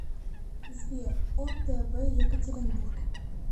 сбер о тэ вэ екатеринбург